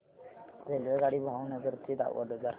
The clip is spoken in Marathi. रेल्वेगाडी भावनगर ते वडोदरा